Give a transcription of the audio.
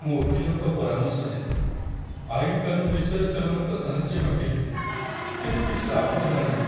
ମୁଁ ଓକିଲଙ୍କ ପରାମର୍ଶ ନେଲି, ଆଇନ କାନୁନ ବିଷୟରେ ସେମାନଙ୍କ ସାହାଯ୍ୟ ମାଗିଲି, କିନ୍ତୁ କିଛି ଲାଭ ହେଲାନାହିଁ!